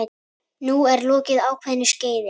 Nú er lokið ákveðnu skeiði.